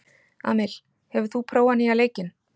Amil, hefur þú prófað nýja leikinn?